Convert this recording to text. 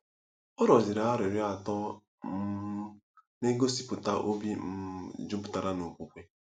Ọ rịọziri arịrịọ atọ um na-egosipụta obi um jupụtara n'okwukwe.